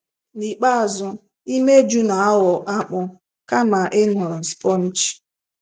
Nikpeazụ, imeju na-aghọ akpụ, kama ịnọrọ spongy.